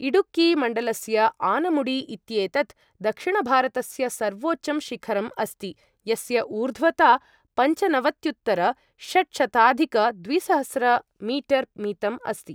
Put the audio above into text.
इडुक्की मण्डलस्य आनमुडी इत्येतत् दक्षिणभारतस्य सर्वोच्चं शिखरम् अस्ति, यस्य ऊर्ध्वता पंचनवत्युत्तरषट्शताधिकद्विसहस्र मीटर् मितम् अस्ति।